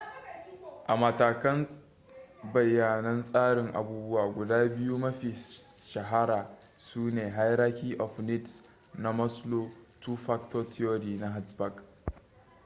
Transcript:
a matakan bayanan tsarin abubuwa guda biyu mafi shahara su ne hierachy of needs na maslow two factor theory na hertzberg